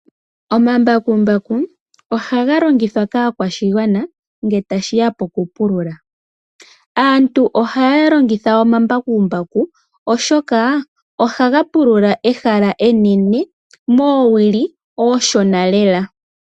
Omambakumbaku ohaga longithwa kaakwashigwana nge tashiya poku pulula. Aantu ohaya longitha omambakumbaku ohoka ohaga pulula ehala enene moowili ooshona lela.